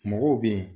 Mɔgɔw bɛ yen